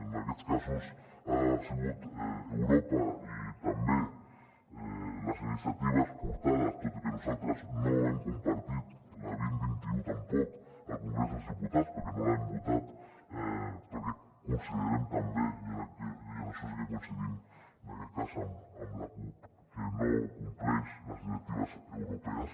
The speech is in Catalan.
en aquests casos ha sigut europa i també les iniciatives portades tot i que nosaltres no ho hem compartit la vint dos mil vint u tampoc al congrés dels diputats perquè no l’hem votat perquè considerem també i en això sí que coincidim en aquest cas amb la cup que no compleix les directives europees